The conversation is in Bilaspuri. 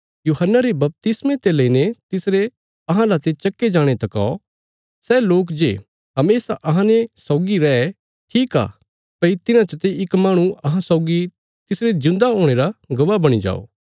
यूहन्ना रे बपतिस्मे ते लईने तिसरे अहां लाते चक्के जाणे तका सै लोक जे हमेशा अहांने सौगी रै ठीक आ भई तिन्हां चते इक माहणु अहां सौगी तिसरे जिऊंदा हुणे रा गवाह बणी जाओ